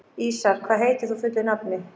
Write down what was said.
Ísarr, hvað heitir þú fullu nafni?